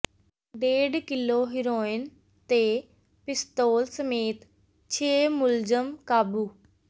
ਡੇਢ kilo heroin ਤੇ ਪਿਸਤੌਲ ਸਮੇਤ ਛੇ ਮੁਲਜ਼ਮ ਕਾਬੂ